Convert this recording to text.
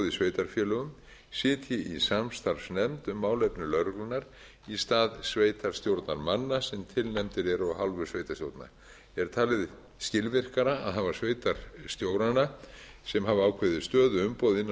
í sveitarfélögum sitji í samstarfsnefnd um málefni lögreglunnar í stað sveitarstjórnarmanna sem tilnefndir eru af hálfu sveitarstjórna er talið skilvirkara að hafa sveitarstjórana sem hafa ákveðið stöðuumboð innan